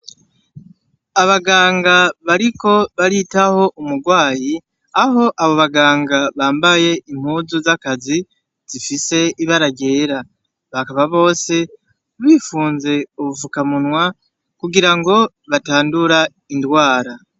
Abaganga bariko baritaho umurwayi aho abo baganga bambaye impuzu z'akazi zifise ibara ryera bakaba bose bifunze ubufukamunwa kugirango batandura indwara.